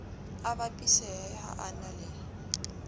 a bapisehe ha a na